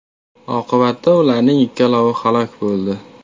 Oqibatda ularning ikkalovi halok bo‘ldi.